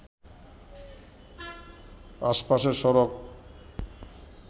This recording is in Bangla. আশপাশের সড়ক